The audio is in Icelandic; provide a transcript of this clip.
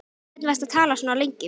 Við hvern varstu að tala svona lengi?